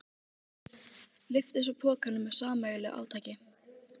Lyftu svo pokanum með sameiginlegu átaki.